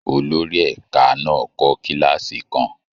Olórí ẹ̀kan náà kọ́ kílààsì kan.